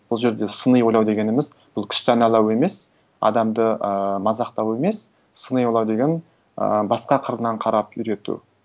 бұл жерде сыни ойлау дегеніміз бұл күш даналау емес адамды ыыы мазақтау емес сыни ойлау деген і басқа қырынан қарап үйрету